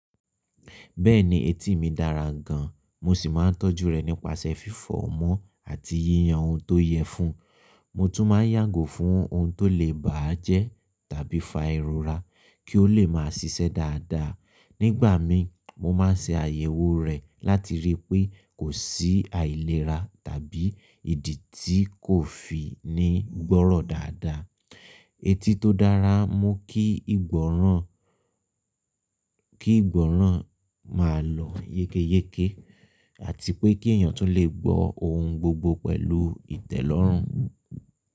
Bẹ́ẹ̀ni, etí mi dára gan, mo sì máa ń tọ́jú rẹ̀ nípasẹ̀ fífọ̀ mọ́ àti yíyan ohun tó yẹ fún un. Mo tún máa ń yàgò fún ohun tó lè bá a jẹ́ tàbí fa ìrora kí ó lè máa ṣiṣẹ́ dáadáa. Nígbà mi mo máa ń ṣe àyẹ̀wò rẹ̀ láti rí i pé kò sí àìlera tàbí ìdí tí kò fi ní gbọ́rọ̀ dáadáa. Eti tó dára mú kí ìgbọ́ràn, kí ìgbọ́ràn máa lọ yékéyéké àti pé kí èèyàn tún lè gbọ́ ohun gbogbo pẹ̀lú ìtẹ̀lọ́rùn.